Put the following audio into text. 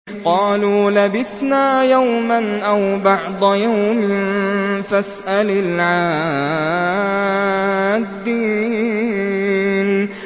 قَالُوا لَبِثْنَا يَوْمًا أَوْ بَعْضَ يَوْمٍ فَاسْأَلِ الْعَادِّينَ